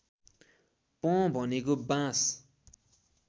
पँ भनेको बाँस